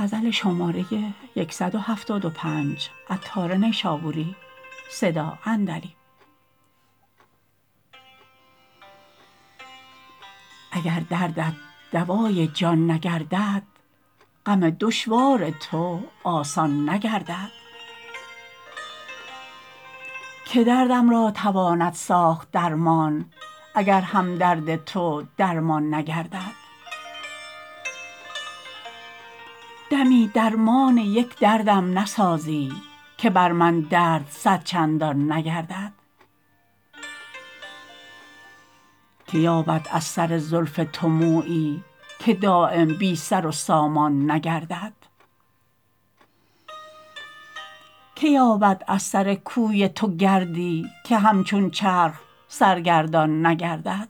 اگر دردت دوای جان نگردد غم دشوار تو آسان نگردد که دردم را تواند ساخت درمان اگر هم درد تو درمان نگردد دمی درمان یک دردم نسازی که بر من درد صد چندان نگردد که یابد از سر زلف تو مویی که دایم بی سر و سامان نگردد که یابد از سر کوی تو گردی که همچون چرخ سرگردان نگردد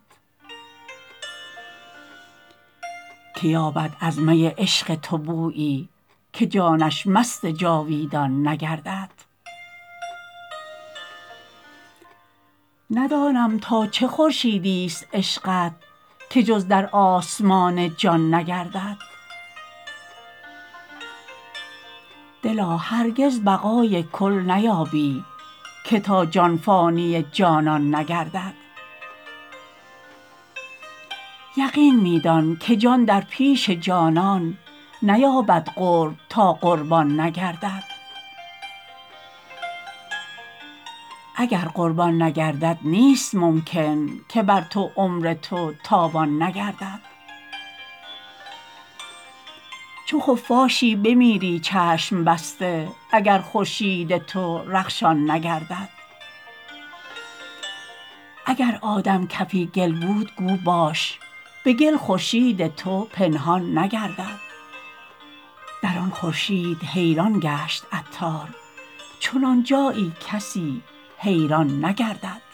که یابد از می عشق تو بویی که جانش مست جاویدان نگردد ندانم تا چه خورشیدی است عشقت که جز در آسمان جان نگردد دلا هرگز بقای کل نیابی که تا جان فانی جانان نگردد یقین می دان که جان در پیش جانان نیابد قرب تا قربان نگردد اگر قربان نگردد نیست ممکن که بر تو عمر تو تاوان نگردد چو خفاشی بمیری چشم بسته اگر خورشید تو رخشان نگردد اگر آدم کفی گل بود گو باش به گل خورشید تو پنهان نگردد در آن خورشید حیران گشت عطار چنان جایی کسی حیران نگردد